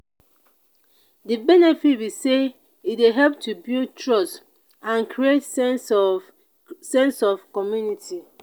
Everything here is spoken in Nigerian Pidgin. di benefit be say e dey help to build trust and create sense of sense of community.